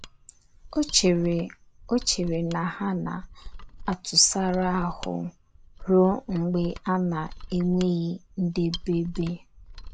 O chere O chere na ha na - atụsara ahụ́ ruo mgbe a na - enweghị ndebebe. ’